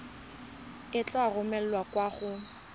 e tla romelwa kwa go